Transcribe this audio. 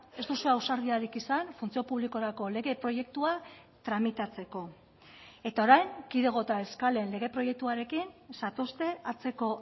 ez duzue ausardiarik izan funtzio publikorako lege proiektua tramitatzeko eta orain kidego eta eskalen lege proiektuarekin zatozte hatzeko